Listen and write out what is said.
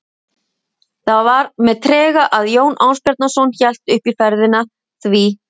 Það var með trega að Jón Ásbjarnarson hélt upp í ferðina því